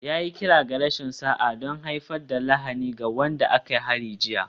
Ya yi kira ga rashin sa'a don haifar da lahani ga wanda aka hari jiya